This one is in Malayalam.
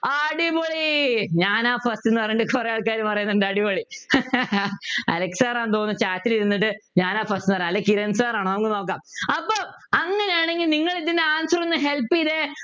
അടിപൊളി ഞാനാ first ന്നു പറയുന്നുണ്ട് കുറെ ആൾക്കാര് പറയുന്നുണ്ട് അടിപൊളി അലക്സ് sir ആ തോന്നു chat ൽ ഇരുന്നിട്ട് ഞാനാ first ന്നു പറയുന്ന് അല്ലെ കിരൺ sir ആണോ നമുക്ക് നോക്കാം അപ്പൊ അങ്ങനെയാണെങ്കിൽ നിങ്ങൾ ഇതിൻ്റെ answer ഒന്ന് help ചെയ്തേ